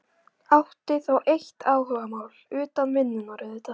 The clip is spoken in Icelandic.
Hann átti þó eitt áhugamál, utan vinnunnar auðvitað.